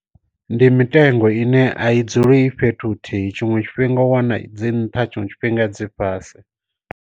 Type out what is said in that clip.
Ndi mitengo ine a i dzule i fhethu huthihi tshiṅwe tshifhinga u wana dzi nṱha tshiṅwe tshifhinga dzi fhasi.